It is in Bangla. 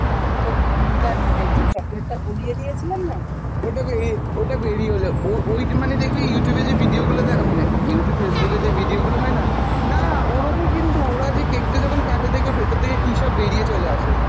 ওটা বেরিয়ে, ওটা বেরিয়ে এলো, ও~ ওইটা মানে দেখবি Youtube এ যে video গুলো দেয় মানে Youtube, Facebook এ যে video গুলো হয়না, না ওরমই কিন্তু ওরা যে cake টা যখন কাটে দেখবে ভেতর থেকে কী সব বেরিয়ে চলে আসে।